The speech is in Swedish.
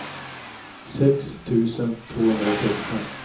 sex tusen tvåhundrasexton